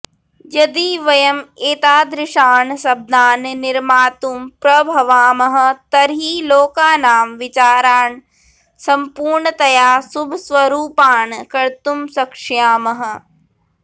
यदि वयम् एतादृशान् शब्दान् निर्मातुं प्रभवामः तर्हि लोकानां विचारान् संपूर्णतया शुभस्वरुपान् कर्तुं शक्ष्यामः